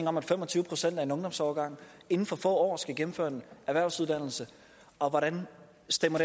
om at fem og tyve procent af en ungdomsårgang inden for få år skal gennemføre en erhvervsuddannelse og hvordan stemmer